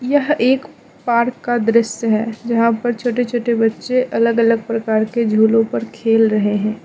यह एक पार्क का दृश्य है जहाँ पर छोटे छोटे बच्चे अलग अलग प्रकार के झूलों पर खेल रहे हैं।